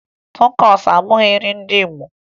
Takosu abụghị nrị ndị Igbo